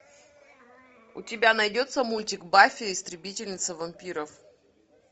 у тебя найдется мультик баффи истребительница вампиров